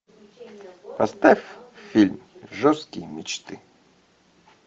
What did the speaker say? поставь фильм жестокие мечты